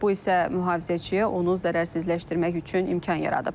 Bu isə mühafizəçiyə onu zərərsizləşdirmək üçün imkan yaradıb.